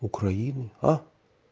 украину а